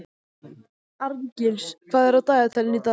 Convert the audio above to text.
Arngils, hvað er á dagatalinu í dag?